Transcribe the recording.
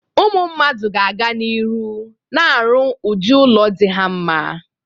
Ụmụ mmadụ ga-aga n'iru na-arụ udị ụlọ dị ha mma.